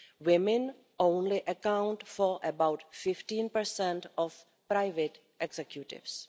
Women only account for about 15 of private executives.